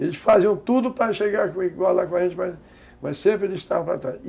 Eles faziam tudo para chegar igual lá com a gente, mas, mas sempre eles estavam para trás.